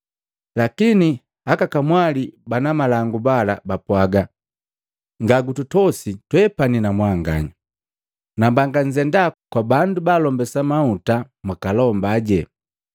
Lakini aka kamwali bana malangu bala bapwaga, ‘Ngagututosi twabeti na mwanganya! Nambanga nzenda kwa bandu baalombesa mahuta mwakalombaje!’